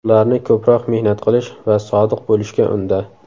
Ularni ko‘proq mehnat qilish va sodiq bo‘lishga unda.